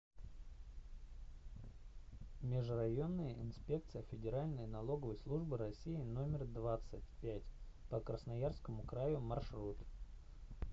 межрайонная инспекция федеральной налоговой службы россии номер двадцать пять по красноярскому краю маршрут